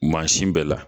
Mansin bɛɛ la